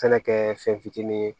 Fɛnɛ kɛ fɛn fitinin ye